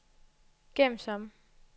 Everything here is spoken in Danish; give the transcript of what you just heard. gem som